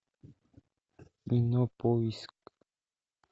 кинопоиск